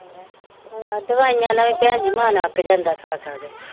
ਹਾਂ ਦਵਾਈਆਂ ਨਾ ਵੀ ਭੈਣਜੀ ਮੰਨ ਅੱਕ ਜਾਂਦਾ ਖਾ ਖਾ ਕੇ